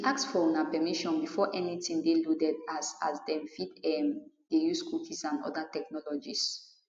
we ask for una permission before anytin dey loaded as as dem fit um dey use cookies and oda technologies